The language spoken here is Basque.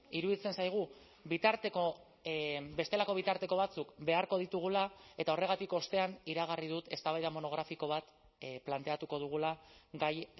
iruditzen zaigu bitarteko bestelako bitarteko batzuk beharko ditugula eta horregatik ostean iragarri dut eztabaida monografiko bat planteatuko dugula gai